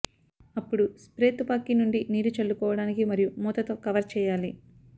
అప్పుడు స్ప్రే తుపాకీ నుండి నీరు చల్లుకోవటానికి మరియు మూతతో కవర్ చేయాలి